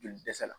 Joli dɛsɛ la